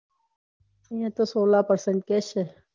એમ સોલા percentage પહેન કેસે